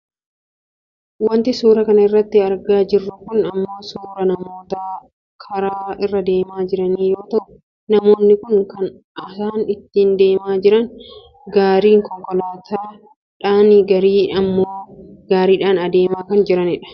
Wanti suuraa kana irratti argaa jirru kun ammoo suuraa namoota karaa irra deemaa jiranii yoo ta'u namoonni kun kan isaan ittiin deemaa jiran gariin konkolaataad dhaan gariin ammoo gaariidhaan deemaa kan jiranidha.